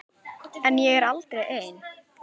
En ég er aldrei ein.